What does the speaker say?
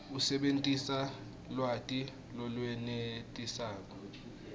usebentise lwati lolwenetisako